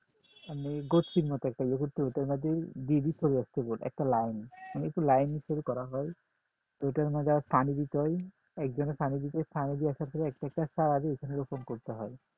আমি গোস্তির মতো করি ওইটার মধ্যেই দিয়ে দিতে হবে একটা গোটা একটা line একটা line করে করা হয় ওই টার মাঝে আবার পানি দিতে হয় একজনের পানি দিতেছে পানি দিয়ে আসার পরে একটা চারাদি রোপন করতে হয়